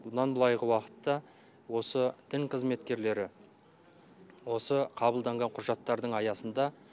бұдан былайғы уақытта осы дін қызметкерлері осы қабылданған құжаттардың аясында